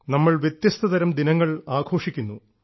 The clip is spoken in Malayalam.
നമ്മൾ വ്യത്യസ്തതരം ദിനങ്ങൾ ആഘോഷിക്കുന്നു